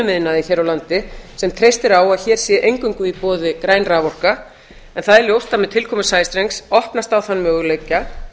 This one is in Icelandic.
iðnaði hér á landi sem treystir á að hér sé eingöngu í boði græn raforka en það er ljóst að með tilkomu rafstrengs opnast á þann möguleika